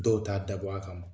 Dɔw t'a dabɔ a kama.